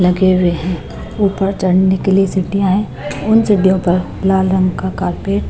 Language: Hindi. लगे हुए हैं ऊपर चढ़ने के लिए सीढ़ियां हैं उन सीढ़ीयो पर लाल रंग का कारपेट --